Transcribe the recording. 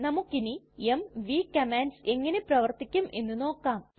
നമ്മുക്കിനി MV commands എങ്ങനെ പ്രവർത്തിക്കും എന്ന് നോക്കാം